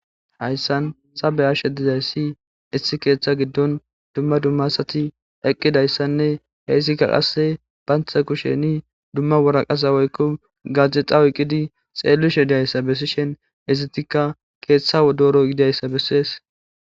Hayssan sabeyashedizayssi issi keeththa giddon dumma dumma asati eqqidayssanne heysikka qasse bantha kusheni dumma wora qasa woykko gaje xawuyqqidi xeellishe idayssa bessishen izitika keeththa dooro yidayssa bessees.